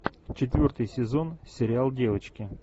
четвертый сезон сериал девочки